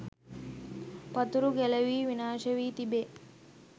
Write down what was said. පතුරු ගැලැවී විනාශ වී තිබේ.